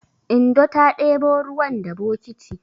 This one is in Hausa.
Indo ta ɗebo ruwan da bokiti.